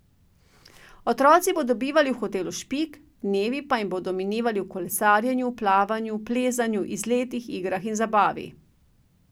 Otroci bodo bivali v hotelu Špik, dnevi pa jim bodo minevali v kolesarjenju, plavanju, plezanju, izletih, igrah in zabavi.